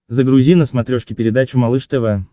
загрузи на смотрешке передачу малыш тв